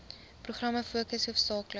programme fokus hoofsaaklik